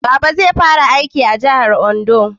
Baba zai fara aiki a jahar Ondo